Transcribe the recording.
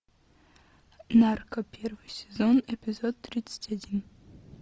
нарко первый сезон эпизод тридцать один